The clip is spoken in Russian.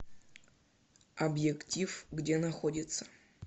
объектив где находится